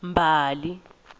mbali